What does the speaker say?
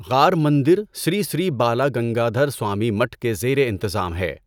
غار مندر سری سری بالا گنگادرسوامی مٹ کے زیر انتظام ہے۔